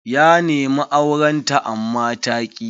Ya nemi auren ta amma ta ki.